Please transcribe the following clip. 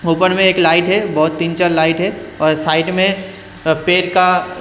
ऊपर में एक लाइट है बहुत तीन चार लाइट है और साइड में पेड़ का--